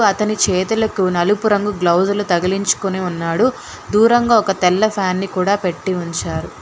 తన చేతులకు నలుపు రంగుల బ్లౌజులు తగిలించుకొని ఉన్నాడు దూరంగా ఒక తెల్ల ఫ్యాన్ని కూడా పెట్టి ఉంచారు.